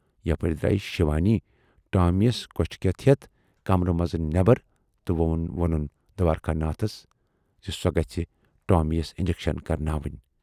یپٲرۍ درایہِ شِوانی ٹامی یَس کۅچھِ کٮ۪تھ ہٮ۪تھ کمرٕ منز نیبر تہٕ وونُن دوارِکا ناتھس زِ سۅ گژھِ ٹٲمی یَس انجکشن کرناونہِ۔